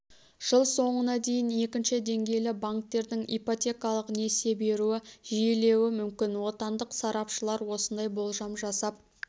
жыл соңына дейін екінші деңгейлі банктердің ипотекалық несие беруі жиілеуі мүмкін отандық сарапшылар осындай болжам жасап